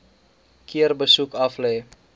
keer besoek aflê